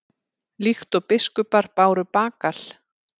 Líkt og biskupar báru bagal?